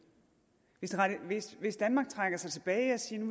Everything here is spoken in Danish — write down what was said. hvis danmark trækker sig tilbage og siger